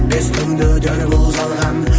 бес күнде өтер бол жалған